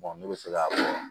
ne bɛ se ka